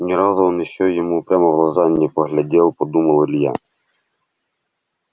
ни разу он ещё ему прямо в глаза не поглядел подумал илья